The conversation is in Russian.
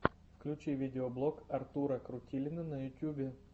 включи видеоблог артура крутилина на ютюбе